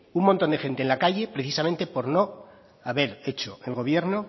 un montón de gente en la calle precisamente por no haber hecho el gobierno